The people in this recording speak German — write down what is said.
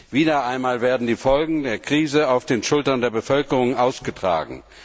Wieder einmal werden die Folgen der Krise auf den Schultern der Bevölkerung ausgetragen.